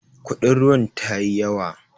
Kudin ruwan tayi yawa.